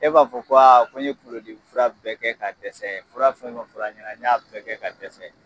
E b'a fɔ ko aa n ye kunkolo dimi fura bɛɛ kɛ ka dɛsɛ, fura fɛn o fɛn fɔra n ye, n y'a bɛɛ kɛ ka dɛsɛ.